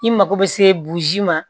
I mako bɛ se ma